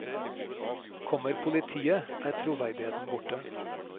Kommer politiet, er troverdigheten borte.